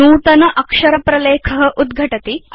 नूतन अक्षर प्रलेख उद्घटति